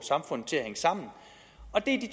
i